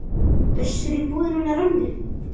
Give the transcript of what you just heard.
Össur í búðinni hennar Hönnu?